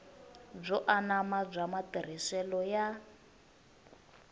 byo anama bya matirhiselo ya